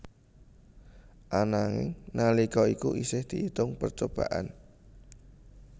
Ananging nalika iku isih diitung percobaan